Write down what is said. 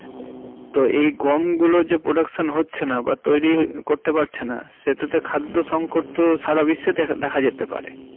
তো এই গমগুলো যে production হচ্ছে না বা তৈরী করতে পারছেনা সেটাতে তো খাদ্য সংকট তো সারা বিশ্বে দেখা~ দেখা যেতে পারে।